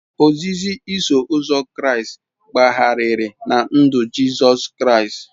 Ozizi Iso Ụzọ Kraịst gbagharịrị na ndụ Jizọs Kraịst.